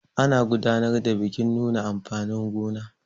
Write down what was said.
ana gudanar da bikin nuna amfanin gona